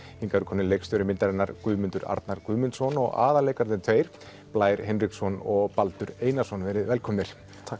hingað eru komnir leikstjóri myndarinnar Guðmundur Arnar Guðmundsson og aðalleikararnir tveir Blær Hinriksson og Baldur Einarsson verið velkomnir